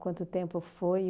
Quanto tempo foi?